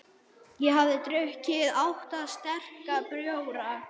Ég hafði drukkið átta sterka bjóra.